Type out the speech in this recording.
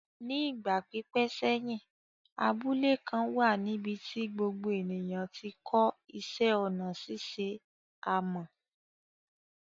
Ní ìgbà pípẹ́ sẹ́yìn, abúlé kan wà níbi tí gbogbo ènìyàn ti kọ́ iṣẹ́ ọnà ṣíṣe amọ̀.